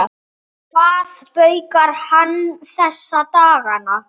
Hvað baukar hann þessa dagana?